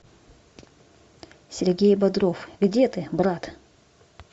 сергей бодров где ты брат